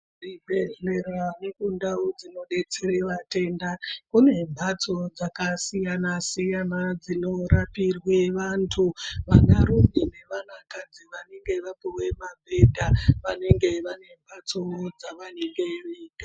Muzvibhendlera nekundau dzinodetsera antu matenda. Kune mhatso dzakasiyana siyana dzinorapirwe vantu. Vanarume nevanakadzi vanenge vapiwa mabhedha vanenge vane mhatsowo dzavanenge veigara.